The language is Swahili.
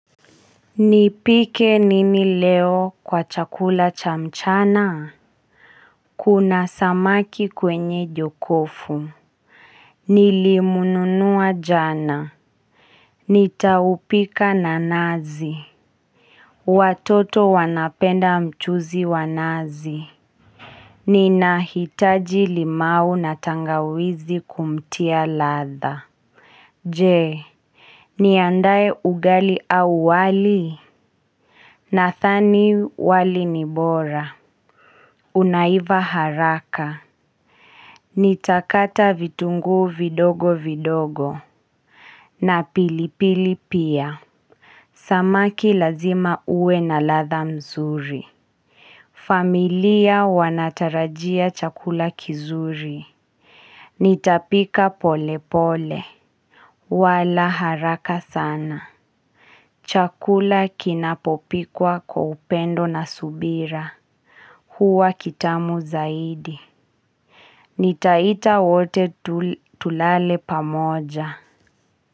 Nipike nini leo kwa chakula cha mchana? Kuna samaki kwenye jokofu nilimununua jana, nitaupika na nazi watoto wanapenda mchuzi wa nazi ninahitaji limau na tangawizi kumtia ladha jee niandae ugali au wali? Nadhani wali ni bora Unaiva haraka, Nitakata vitungu vidogo vidogo na pilipili pia, Samaki lazima uwe na ladha mzuri familia wanatarajia chakula kizuri Nitapika pole pole wala haraka sana Chakula kinapopikwa kwa upendo na subira huwa kitamu zaidi Nitaita wote tulale pamoja.